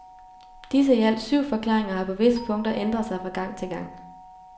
Disse i alt syv forklaringer har på visse punkter ændret sig fra gang til gang.